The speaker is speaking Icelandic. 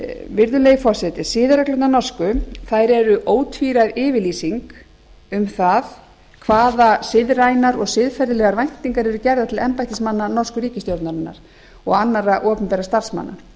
virðulegi forseti siðareglurnar norsku eru ótvíræð yfirlýsing um það hvaða siðrænar og siðferðilegar væntingar eru gerðar til embættismanna norsku ríkisstjórnarinnar og annarra opinberra starfsmanna